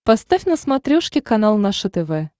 поставь на смотрешке канал наше тв